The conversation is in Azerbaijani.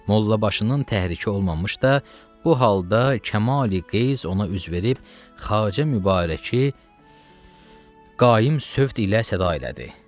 Molla başının təhriki olmamış da, bu halda Kamal Qeyis ona üz verib, Xacə Mübarəki qaim sövt ilə səda elədi.